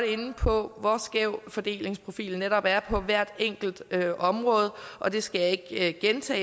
inde på hvor skæv fordelingsprofilen netop er på hvert enkelt område og det skal jeg ikke gentage